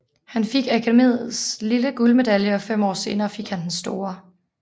Han fik Akademiets lille guldmedalje og fem år senere fik han den store